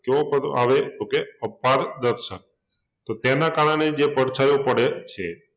કેવો પડદો આવે તો કે અપાર દર્શક તો તેના કારણે જે પડછાયો પડે છે